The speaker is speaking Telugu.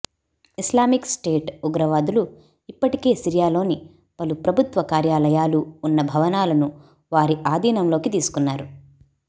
ఇస్లామిక్ స్టేట్ ఉగ్రవాదులు ఇప్పటికే సిరియాలోని పలు ప్రభుత్వ కార్యాలయాలు ఉన్న భవనాలను వారి ఆధీనంలోకి తీసుకున్నారు